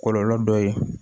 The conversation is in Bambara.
Kɔlɔlɔ dɔ ye